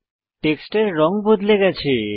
টেক্সটের রঙ বদলে গেছে